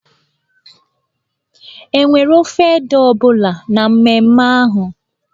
E nwere ofe ede ọ bụla na mmemme ahụ?